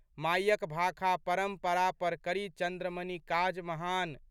मायक भाखा परम्परा पर, करी 'चन्द्रमणि' काज महान।